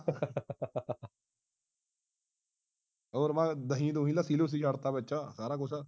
ਹੋਰ ਮੈਂ ਦਹੀਂ ਦੁਹੀ ਲੱਸੀ ਲੁਸੀ ਛੱਡ ਤਾ ਬੱਚਾ ਸਾਰਾ ਕੁਝ